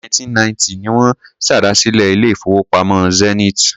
Ọdún 1990 ni wọ́n ṣèdásílẹl ilé-ìfowópamọ́ Zenith.